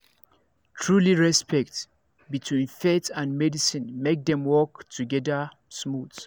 trulyrespect between faith and medicine make dem work together smooth